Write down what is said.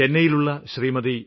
ചെന്നൈയിലുള്ള Shrimati